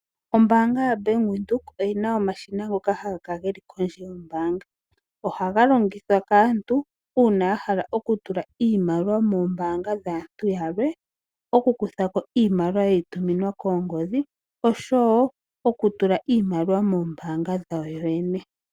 Ombaanga YO BANK WINDHOEK oyina omashina ngoka haga kala geli pondje nombaanga nohaga longithwa kaantu uuna ya hala okutula iimaliwa koombaanga dhantu yalwe okukuthako iimaliwa yeyi tuminwa koongodhi oshowo okutula iimaliwa kombaanga dhawo yene.